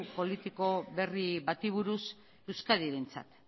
politiko berri bati buruz euskadirentzat